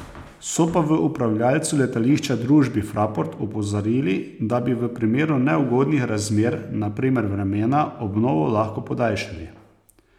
So pa v upravljavcu letališča, družbi Fraport, opozorili, da bi v primeru neugodnih razmer, na primer vremena, obnovo lahko podaljšali.